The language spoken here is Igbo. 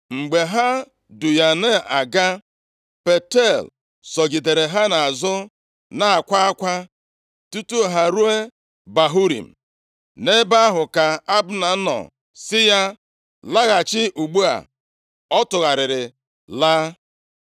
Mgbe ha du ya na-aga, Paltiel sogidere ya nʼazụ na-akwa akwa tutu ha eruo Bahurim. Nʼebe ahụ ka Abna nọ sị ya, “Laghachi ugbu a.” Ọ tụgharịrị laa.